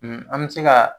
an bɛ se ka